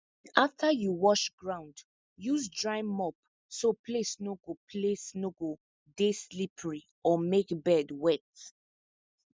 after you wash ground use dry mop so place no go place no go dey slippery or make bed wet